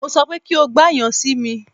Mo sọ pé kí o gba yẹn si mi!